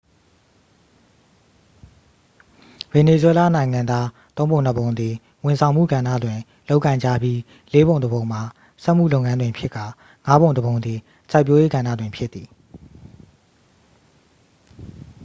ဗင်နီဇွဲလားနိုင်ငံသား သုံးပုံနှစ်ပုံသည် ဝန်ဆောင်မှုကဏ္ဍတွင် လုပ်ကိုင်ကြပြီး လေးပုံတစ်ပုံမှာ စက်မှုလုပ်ငန်းတွင်ဖြစ်ကာ ငါးပုံတစ်ပုံသည် စိုက်ပျိုးရေးကဏ္ဍတွင် ဖြစ်သည်